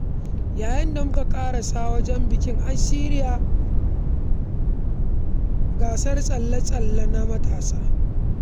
Yayin da muka ƙarasa wajen bikin, an shirya gasar tsalle-tsalle na matasa